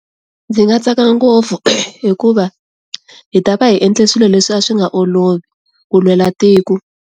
Ndzi nga tsaka ngopfu hikuva hi ta va hi endle swilo leswi a swi nga olovi ku lwela tiko.